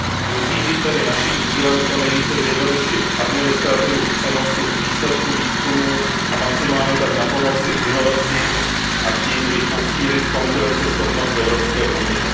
Musí být tedy naším cílem co nejvíce zjednodušit administrativu přenosu výsledku výzkumu a maximálně tak napomoci inovacím a tím i posílit konkurenceschopnost Evropské unie.